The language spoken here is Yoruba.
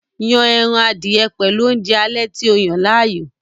Yon ẹran adìẹ pẹ̀lú oúnjẹ alẹ́ tí o yàn láàyò